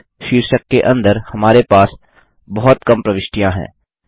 cost शीर्षक के अंदर हमारे पास बहुत कम प्रविष्टियाँ हैं